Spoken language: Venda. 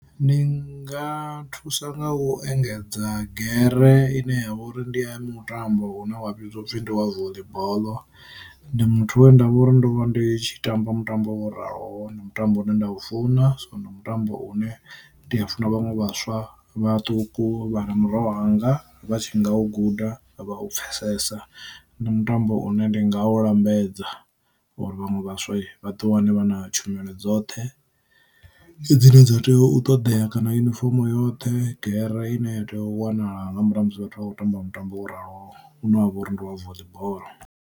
Ndi nga thusa nga u engedza gere ine ya vha uri ndi mutambo une wa vhidzwa upfi ndi wa voḽi boḽo, ndi muthu wendavha uri ndo vha ndi tshi tamba mutambo wa uraho na mutambo une nda u funa so ndi mutambo une ndi a funa vhaṅwe vhaswa vhaṱuku vha na miroho anga vha tshifhinga u guda vha u pfesesa. Ndi mutambo une ndi nga u lambedza uri vhaṅwe vhaswa vhaḓi wane vha na tshumelo dzoṱhe dzine dza tea u ṱoḓea kana yunifomo yoṱhe gere i ne ya tea u wanala nga murahu musi vhathu vha kho tamba mutambo ralo une wavha uri ndi wa voḽi boḽo.